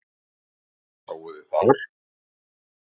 Hvað sáuð þið þar?